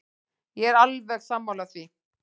Ég er alveg sammála því.